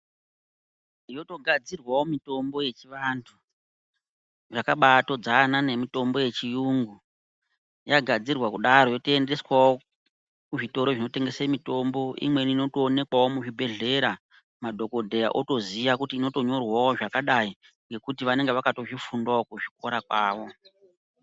Yotogadzirwawo mitombo yechiantu, yakaba atodzana nemitombo neyechiyungu yagadzirwa kudaro yotoendeswawo kuzvitoro zvinotengese mitombo imweni inotoonekawo muzvibhehlera madhokodheya otoziya kuti inotonyorwa zvakadai ngekuti vanenge vakato zvifundawo kuzvikora zvavo.